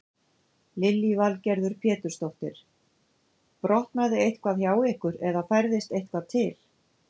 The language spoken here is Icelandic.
Lillý Valgerður Pétursdóttir: Brotnaði eitthvað hjá ykkur eða færðist eitthvað til?